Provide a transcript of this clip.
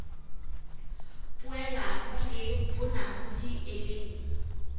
poelano le bonamodi e leng